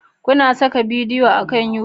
Kuna saka bidiyo akan YouTube?